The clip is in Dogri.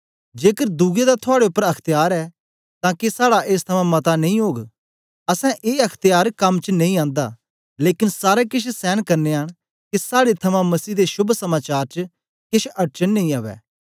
जेकर दुए दा थुआड़े उपर अख्त्यार ऐ तां के साड़ा एस थमा मता नेई ओग असैं ए अख्त्यार कम च नेई आंदा लेकन सारा केछ सैन करनयां न के साड़े थमां मसीह दे शोभ समाचार च केछ अड़चन नेई उवै